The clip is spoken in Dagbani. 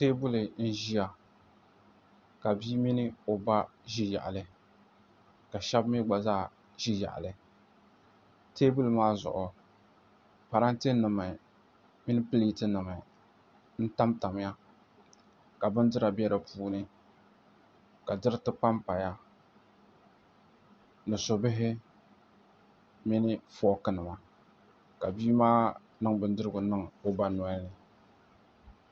Teebuli n ʒiya ka bia mini o ba ʒi yaɣali ka shab mii gba zaa ʒi yaɣali teebuli maa zuɣu parantɛ nim mini pileeti nim b tamtamya ka bindira bɛ di puuni ka diriti panpaya ni su bihi mini fooki nima ka bia maa niŋ o ba nolini